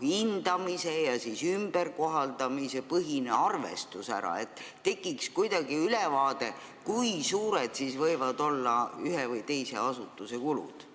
hindamise ja ümberkohaldamise põhine arvestus, et tekiks ülevaade, kui suured võivad olla ühe või teise asutuse kulud?